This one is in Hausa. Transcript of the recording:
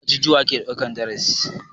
A ajujuwa ake ɗaukan darasi.